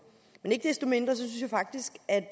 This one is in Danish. men ikke desto mindre synes jeg faktisk at